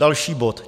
Další bod.